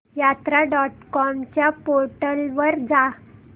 यात्रा dot com च्या portal वर जा